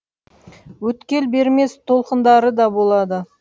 өткел бермес толқындары да болады